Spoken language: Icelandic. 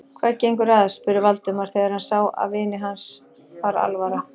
Hvað gengur að? spurði Valdimar, þegar hann sá að vini hans var alvara.